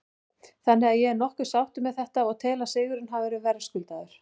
Þannig að ég er nokkuð sáttur með þetta og tel að sigurinn hafi verið verðskuldaður.